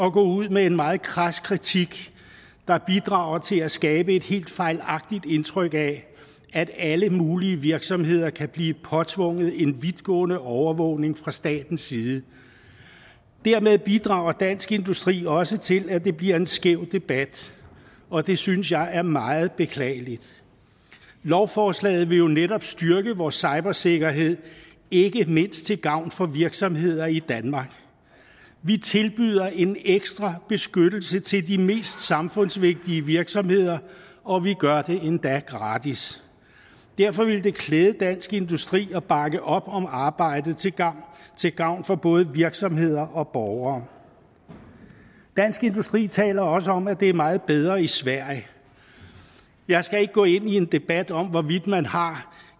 at gå ud med en meget krads kritik der bidrager til at skabe et helt fejlagtigt indtryk af at alle mulige virksomheder kan blive påtvunget en vidtgående overvågning fra statens side dermed bidrager dansk industri også til at det bliver en skæv debat og det synes jeg er meget beklageligt lovforslaget vil jo netop styrke vor cybersikkerhed ikke mindst til gavn for virksomheder i danmark vi tilbyder en ekstra beskyttelse til de mest samfundsvigtige virksomheder og vi gør det endda gratis derfor ville det klæde dansk industri at bakke op om arbejdet til gavn til gavn for både virksomheder og borgere dansk industri taler også om at det er meget bedre i sverige jeg skal ikke gå ind i en debat om hvorvidt man har